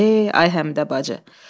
Ey ay Həmidə bacı.